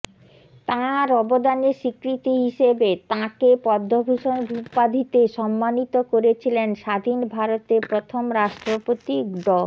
তঁার অবদানের স্বীকৃতি হিসেবে তঁাকে পদ্মভূষণ উপাধিতে সম্মানিত করেছিলেন স্বাধীন ভারতের প্রথম রাষ্ট্রপতি ড